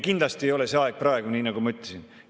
Kindlasti ei ole see aeg praegu, nii nagu ma ütlesin.